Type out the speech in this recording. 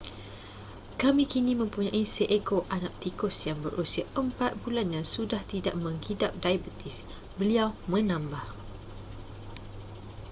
kami kini mempunyai seekor anak tikus yang berusia 4 bulan yang sudah tidak menghidap diabetes beliau menambah